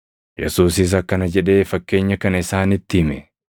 Yesuusis akkana jedhee fakkeenya kana isaanitti hime;